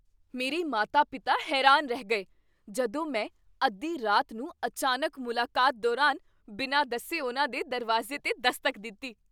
ਮੇਰੇ ਮਾਤਾ ਪਿਤਾ ਹੈਰਾਨ ਰਹਿ ਗਏ ਜਦੋਂ ਮੈਂ ਅੱਧੀ ਰਾਤ ਨੂੰ ਅਚਾਨਕ ਮੁਲਾਕਾਤ ਦੌਰਾਨ ਬਿਨਾਂ ਦੱਸੇ ਉਨ੍ਹਾਂ ਦੇ ਦਰਵਾਜ਼ੇ 'ਤੇ ਦਸਤਕ ਦਿੱਤੀ